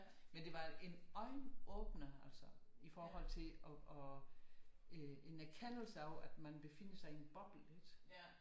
Men det var en øjenåbner altså i forhold til og en erkendelse af at man befinder sig i en boble